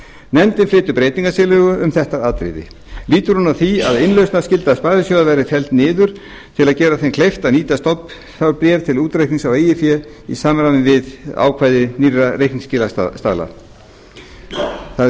nefndin flytur breytingartillögu um þetta atriði lýtur hún að því að innlausnarskylda sparisjóða verði felld niður til að gera þeim kleift að nýta stofnfé til útreiknings á eigin fé í samræmi við ákvæði nýrra reikningsskilastaðla það